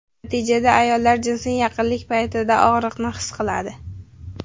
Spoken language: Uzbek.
Natijada ayollar jinsiy yaqinlik paytida og‘riqni his qiladi.